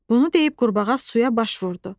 Bunu deyib qurbağa suya baş vurdu.